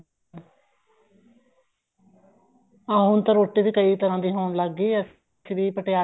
ਹਾਂ ਹੁਣ ਤਾਂ ਰੋਟੀ ਵੀ ਕਈ ਤਰ੍ਹਾਂ ਦੀ ਹੋਣ ਲੱਗ ਗਈ ਏ ਅਸੀਂ ਵੀ ਪਟਿਆਲੇ